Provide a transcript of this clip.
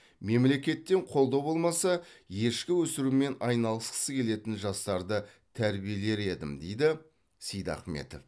мемлекеттен қолдау болмаса ешкі өсірумен айналысқысы келетін жастарды тәрбиелер едім дейді сейдахметов